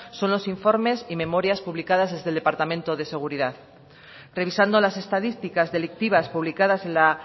son los informes y memorias publicadas desde el departamento de seguridad revisando las estadísticas delictivas publicadas en la